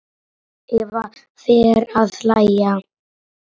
Eva fer að hlæja.